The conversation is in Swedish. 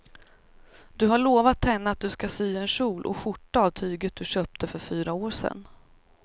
Du har lovat henne att du ska sy en kjol och skjorta av tyget du köpte för fyra år sedan.